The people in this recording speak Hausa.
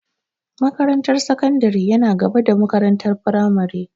Makarantar sakandari yana gaba da makarantar firamare.